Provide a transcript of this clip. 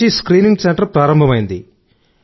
2020 నుంచి screening centre ప్రారంభమైంది